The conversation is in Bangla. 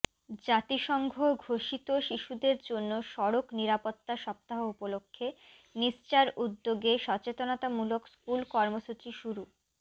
জাতিসংঘ ঘোষিত শিশুদের জন্য সড়ক নিরাপত্তা সপ্তাহ উপলক্ষে নিসচার উদ্যোগে সচেতনতামূলক স্কুল কর্মসূচি শুরু